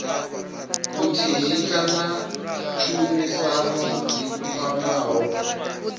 vhuthihi kana tshumisano dzi kwamaho